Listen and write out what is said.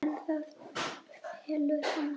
En það felur hana.